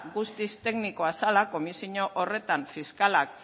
guztiz teknikoa zala komisio horretan fiskalak